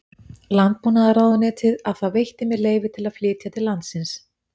Landbúnaðarráðuneytið að það veitti mér leyfi til að flytja til landsins